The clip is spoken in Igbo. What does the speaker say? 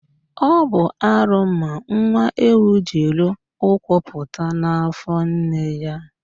Ọ bụ arụ ma nwa ewu jiri ụkwụ pụta n'afọ nne ya